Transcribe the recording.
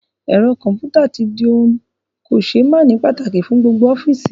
Ẹ̀rọ kọ̀ḿpútà tí di ohun kò ṣé máàní pàtàkì fún gbogbo ọ́fíìsì